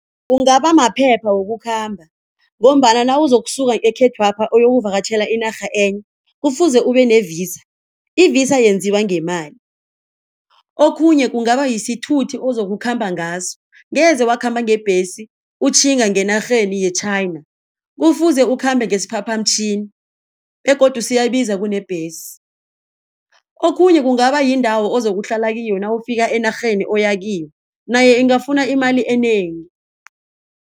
Kungaba maphepha wokukhamba ngombana nawuzokusuka ekhethwapha uyokuvakatjhela inarha enye kufuze ubene-Visa. I-Visa yenziwa ngemali okhunye kungaba yesithuthi ozokukhamba ngaso ngeze wakhamba ngebhesi utjhinga ngenarheni ye-China, kufuze ukhambe ngesiphaphamtjhini begodu siyabiza kunembhesi. Okhunye kungaba yindawo ozokuhlala kiyo nawufika enarheni oyakiyo nayo ingafuna imali enengi.